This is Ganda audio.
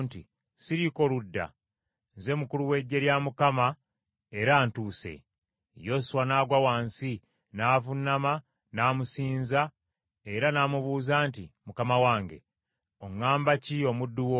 “Siriiko ludda. Nze mukulu w’eggye lya Mukama era ntuuse.” Yoswa n’agwa wansi, n’avuunama n’amusinza era n’amubuuza nti, “ Mukama wange, oŋŋamba ki omuddu wo?”